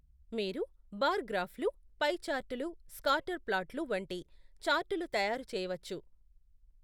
మీరు బార్ గ్రాఫ్లు, పై చార్టులు, స్కాటర్ ప్లాట్లు వంటి చార్టులు తయారు చేయవచ్చు.